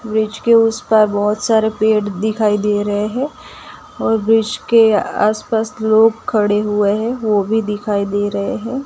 वृक्ष के उस पार बहोत सारे पेड़ दिखाई दे रहे है और वृक्ष के आस पास लोग खड़े हुए है वो भी दिखाई दे रहे है।